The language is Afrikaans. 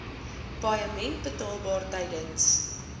paaiement betaalbaar tydens